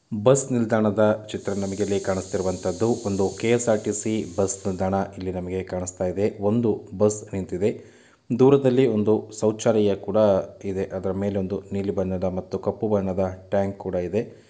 Bus ನಿಲ್ದಾಣದ ಚಿತ್ರಣ ನಮಗೆ ಇಲ್ಲಿ ಕಾಣುತ್ತಿರುವುದುವಂತದ್ದು ಒಂದು ಕೆ.ಎಸ್‌.ಆರ್‌.ಟಿ. ಸಿ. ಬಸ್‌ ನಿಲ್ದಾಣ. ಇಲ್ಲಿ ನಮಗೆ ಕಾಣಿಸ್ತಾ ಇದೆ ಒಂದು ಬಸ್‌ ನಿಂತಿದೆ ದೂರದಲ್ಲಿ ಒಂದು ಶೌಚಾಲಯ ಕೂಡ ಇದೆ ಅದರ ಮೇಲೆ ನೀಲಿ ಬಣ್ಣ ಮತ್ತೂ ಕಪ್ಪು ಬಣ್ಣದ ಟ್ಯಾಂಕ್‌ ಕೂಡ ಇದೆ.